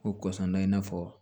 Ko kɔsɔn na i n'a fɔ